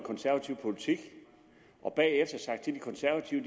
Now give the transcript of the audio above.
konservative politik og bagefter sagt til de konservative